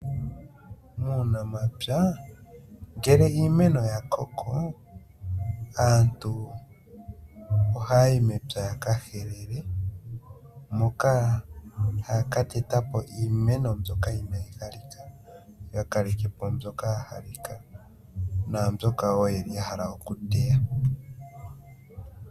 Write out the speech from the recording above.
Muunamapya, ngele iimeno ya koko, aantu ohaa yi mepya yaka helele, moka haa ka teta po iimeno mbyoka inaa yi halika, yo ya kaleke po mboka ya halika, naambyoka wo yene ya hala okuteya.